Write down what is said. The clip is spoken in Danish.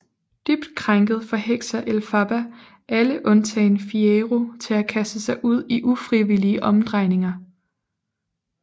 Dybt krænket forhekser Elphaba alle undtagen Fiyero til at kaste sig ud i ufrivillige omdrejninger